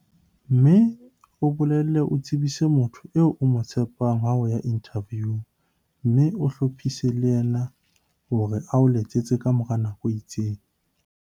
Mme o boele o tsebise motho eo o mo tshepang ha o ya inthaviung mme o hlophise le yena hore a o letsetse ka mora nako e itseng.